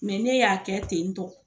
n'e y'a kɛ ten tɔn